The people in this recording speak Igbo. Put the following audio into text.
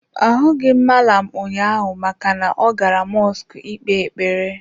Ahụghị m mallam ụnyaahụ maka na ọ gara mọsk ị kpee ekpere.